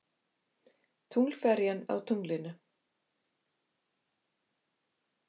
Tunglferjan á tunglinu.